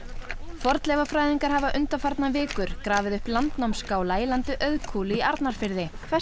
fornleifafræðingar hafa undanfarnar vikur grafið upp landnámsskála í landi Auðkúlu í Arnarfirði hvers